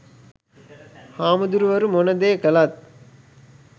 හාමුදුරුවරු මොන දේ කළත්